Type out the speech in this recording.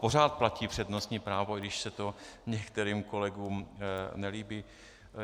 Pořád platí přednostní právo, i když se to některým kolegům nelíbí.